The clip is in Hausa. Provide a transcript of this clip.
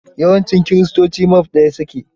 Yawancin kiristoci mave ɗaya su ke.